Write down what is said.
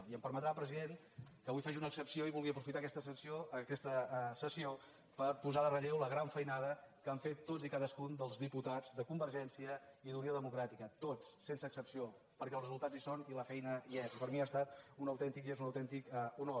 i em permetrà president que avui faci una excepció i vulgui aprofitar aquesta sessió per posar en relleu la gran feinada que han fet tots i cadascun dels diputats de convergència i d’unió democràtica tots sense excepció perquè els resultats hi són i la feina hi és i per a mi ha estat un autèntic i és un autèntic honor